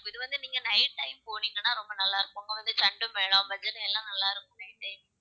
இது வந்து நீங்க night time போனீங்கன்னா ரொம்ப நல்லா இருக்கும். இங்கே வந்து chenda மேளம், பஜனை எல்லாம் நல்லா இருக்கும் nighttime